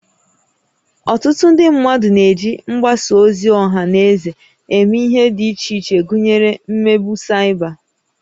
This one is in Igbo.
Ọtụtụ ndị mmadụ na-eji mgbasa ozi ọha na eze eme ihe dị iche iche gụnyere imegbu Cyber